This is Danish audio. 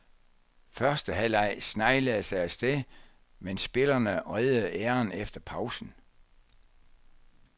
Første halvleg sneglede sig af sted, men spillerne reddede æren efter pausen.